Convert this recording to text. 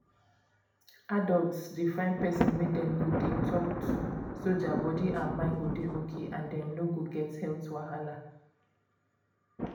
adults dey find person wey dem go talk to so their body and mind go dey okay and dem no go get health wahala